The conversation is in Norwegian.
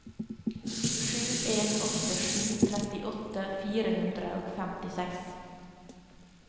sju en åtte sju trettiåtte fire hundre og femtiseks